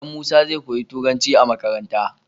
Dan musa zai koyi turanci a makaranta